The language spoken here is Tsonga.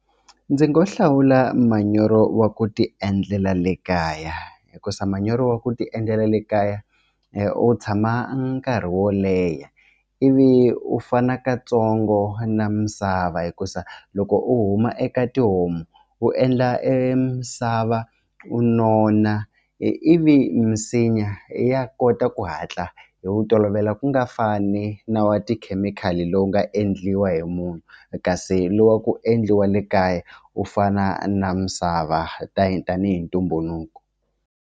Ndzi ngo hlawula manyoro wa ku ti endlela le kaya hikuza manyoro wa ku ti endlela le kaya u tshama nkarhi wo leha ivi u fana katsongo na misava hikuza loko u huma eka tihomu u endla e misava u nona ivi misinya ya kota ku hatla hi wu tolovela ku nga fani na wa tikhemikhali lowu nga endliwa hi munhu kasi lowa ku endliwa le kaya u fana na misava tani tanihi ntumbuluko.